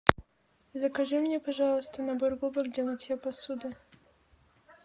закажи мне пожалуйста набор губок для мытья посуды